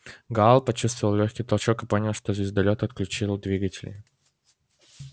гаал почувствовал лёгкий толчок и понял что звездолёт отключил двигатели